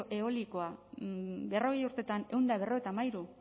eolikoa berrogei urtetan ehun eta berrogeita hamairu